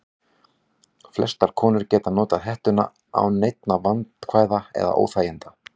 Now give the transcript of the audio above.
Flestar konur geta notað hettuna án neinna vandkvæða eða óþæginda.